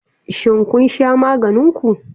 Shin kun sha maganin ku?